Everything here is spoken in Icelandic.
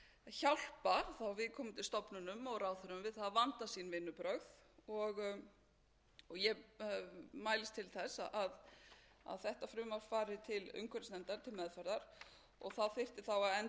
hjálpa viðkomandi stofnunum og ráðherrum við það að vanda sín vinnubrögð ég mælist til þess að þetta frumvarp fari til umhverfisnefndar til meðferðar og þá þyrfti að endurskoða